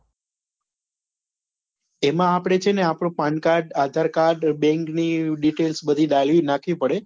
તે આપડે છે ને આપડો pan card aadhar card bank ની details બધી નાંખવી પડે